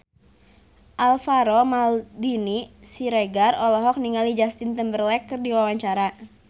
Alvaro Maldini Siregar olohok ningali Justin Timberlake keur diwawancara